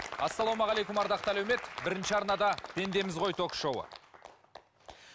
ассалаумағалейкум ардақты әлеумет бірінші арнада пендеміз ғой ток шоуы